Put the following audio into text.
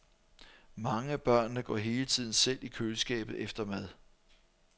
Mange af børnene går hele tiden selv i køleskabet efter mad.